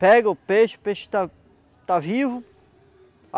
Pega o peixe, o peixe está está vivo.